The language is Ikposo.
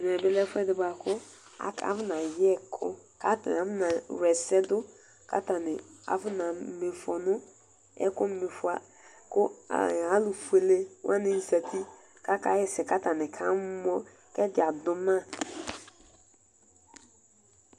Ɛmɛbi lɛ ɛfʋɛdi bʋakʋ akɔ nayɛ ɛkʋ kʋ atani kawla ɛsɛdʋ, kʋ atani akɔ nama ifɔ nʋ ɛkʋma ifɔ. Kʋ alʋfuele wani zati kʋ akaxɛsɛ kʋ atani kamɔ, kʋ ɛdi adʋ ma